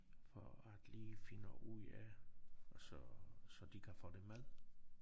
For at lige finde ud af og så så de kan få det med